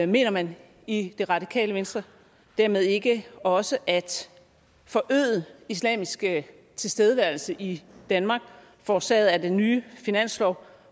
mener man i det radikale venstre dermed ikke også at forøget islamisk tilstedeværelse i danmark forårsaget af den nye finanslov